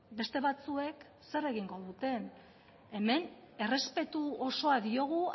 beste batzuek zer egingo duten hemen errespetu osoa diogu